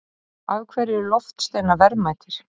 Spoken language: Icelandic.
af hverju eru loftsteinar verðmætir